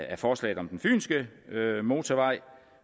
af forslaget om den fynske motorvej